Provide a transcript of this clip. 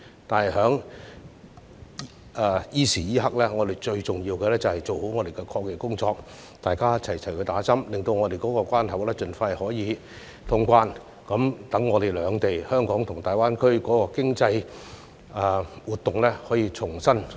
但是，在此時此刻，我們最重要的是做好抗疫工作，大家一起接種疫苗，令本港的關口可以盡快通關，讓香港及大灣區兩地的經濟活動可以重啟。